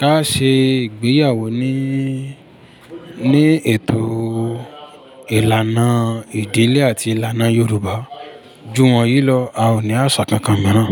ká ṣe ìgbéyàwó ní, ní ètò ìlànà ìdílé àti ìlànà Yorùbá. Jú wọ̀nyí lọ, a ò ní àṣà kankan míràn.